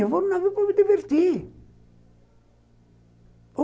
Eu vou no navio para me divertir.